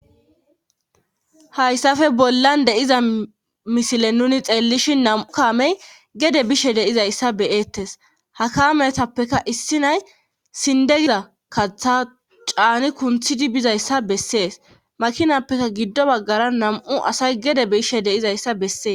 Hayssape bollan deiza misile nuni xeellishi nam7u kaamey gede bishe deizayssa beyeettes ha kaametappeka issi nay sindegida kaththa caani kunthidi bizayssa bessees makinappeka giddo baggara nam7u asay gede bishe deizayssa bessees.